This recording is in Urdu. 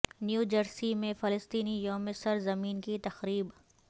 نیو جرسی میں فلسطینی یوم سر زمین کی تقریب